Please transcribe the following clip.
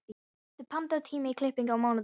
Birtir, pantaðu tíma í klippingu á mánudaginn.